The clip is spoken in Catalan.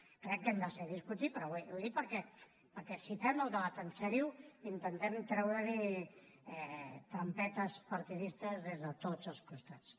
crec que ho hem de seguir discutint però ho dic perquè si fem el debat seriosament intentem treure hi trampetes partidistes des de tots els costats